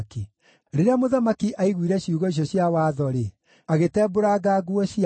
Rĩrĩa mũthamaki aiguire ciugo icio cia Watho-rĩ, agĩtembũranga nguo ciake.